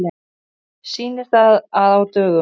Sýnir það að á dögum